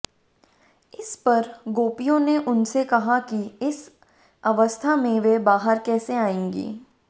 इस पर गोपियों ने उनसे कहा कि इस अवस्था में वे बाहर कैसे आएंगी